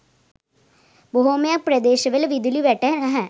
බොහොමයක් ප්‍රදේශවල විදුලි වැට නැහැ.